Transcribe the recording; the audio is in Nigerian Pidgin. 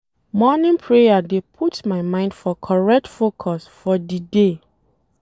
Morning prayer dey put my mind for correct focus for di day.